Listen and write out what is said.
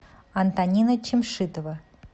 антонина чамшитова